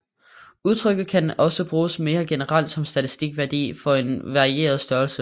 Udtrykket kan også bruges mere generelt som en statistisk værdi for en varierende størrelse